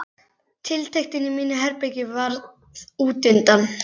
Tiltektin í mínu herbergi varð útundan.